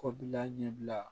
Kɔbila ɲɛbila